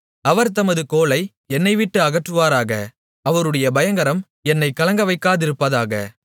அவர் தமது கோலை என்னைவிட்டு அகற்றுவாராக அவருடைய பயங்கரம் என்னைக் கலங்கவைக்காதிருப்பதாக